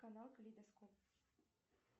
канал калейдоскоп